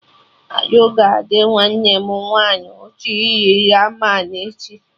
Arụ ga adị nwanne m nwaanyị ụtọ iri Ramen echi